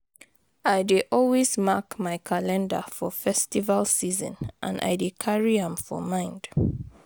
I dey always mark my calendar for festival season and I dey carry am for mind